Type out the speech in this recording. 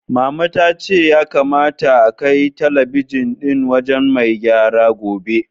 Mama ta ce ya kamata akai talabijin ɗin wajen mai gyara gobe.